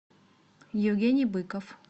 евгений быков